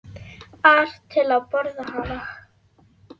ar til að borða hana.